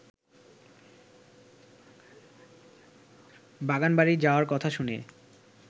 বাগানবাড়ি যাবার কথা শুনে